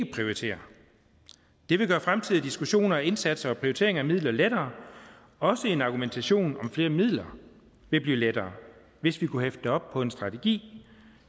prioritere det vil gøre fremtidige diskussioner indsatser og prioriteringer af midler lettere også en argumentation om flere midler vil blive lettere hvis vi kunne hæfte det op på en strategi